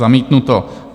Zamítnuto.